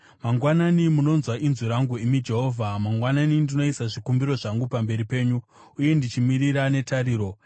Mangwanani, munonzwa inzwi rangu, imi Jehovha; mangwanani ndinoisa zvikumbiro zvangu pamberi penyu uye ndichimirira netariro.